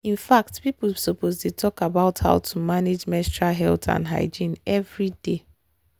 in fact people suppose dey talk about how to manage menstrual health and hygiene everyday